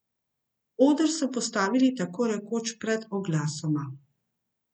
Oder so postavili tako rekoč pred oglasoma.